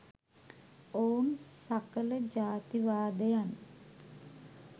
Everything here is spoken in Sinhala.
ඔවුන් සකල ජාතිවාදයන්